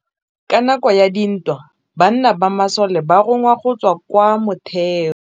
Ka nakô ya dintwa banna ba masole ba rongwa go tswa kwa mothêô.